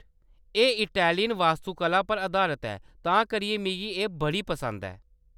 एह्‌‌ इटैलियन वास्तुकला पर अधारत ऐ, तां करियै मिगी एह्‌‌ बड़ी पसंद ऐ।